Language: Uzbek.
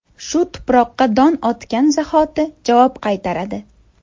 Shu tuproqqa don otgan zahoti javob qaytaradi.